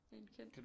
En kendt